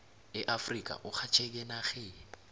eafrika urhatjheke eenarheni